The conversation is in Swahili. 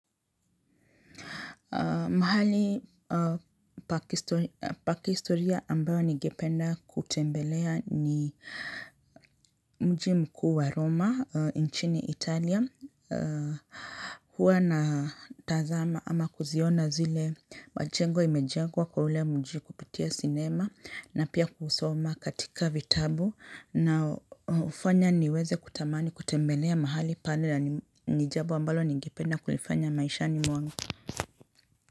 Mahali pakihisto pakihistoria ambayo nigependa kutembelea ni mji mkuu wa Roma, nchini Italia. Huwa na tazama ama kuziona zile majengo imejengwa kwa ule mji kupitia sinema na pia kusoma katika vitabu na hufanya niweze kutamani kutembelea mahali pale na ni ni jambo ambalo nigependa kulifanya maishani mwangu.